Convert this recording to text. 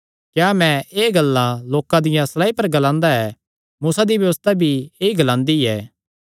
क्या मैं एह़ गल्लां लोकां दिया सलायीं पर ग्लांदा ऐ मूसा दी व्यबस्था भी ऐई ग्लांदी ऐ